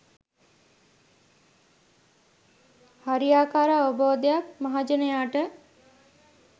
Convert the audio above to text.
හරියාකාර අවබෝධයක් මහජනයාට